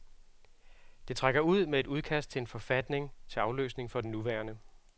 Det trækker ud med et udkast til en forfatning til afløsning for den nuværende.